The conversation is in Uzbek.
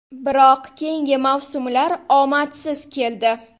Biroq keyingi mavsumlar omadsiz keldi.